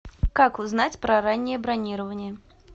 как узнать про раннее бронирование